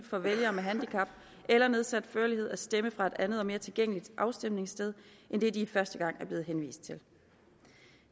for vælgere med handicap eller nedsat førlighed at stemme fra et andet og mere tilgængeligt afstemningssted end det de første gang er blevet henvist til